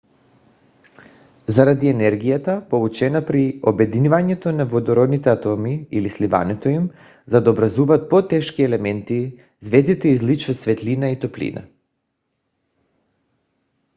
заради енергията получена при обединяването на водородните атоми или сливането им за да образуват по-тежки елементи звездите излъчват светлина и топлина